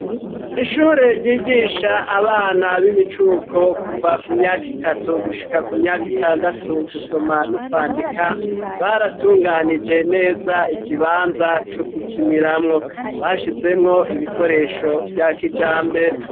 Ishure ryigisha abana b'imicuko kuva ku myaka itatu gushika ku myaka itandatu gusoma no kwandika, baratunganije neza ikibanza co gukiniramwo, bashizemwo ibikoresho vya kijambere.